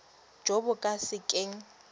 jo bo ka se keng